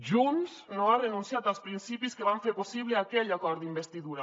junts no ha renunciat als principis que van fer possible aquell acord d’investidura